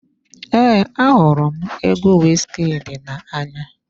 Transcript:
Ee, ahụrụ m egwu Wizkid na-anya.